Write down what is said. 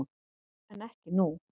En ekki nú.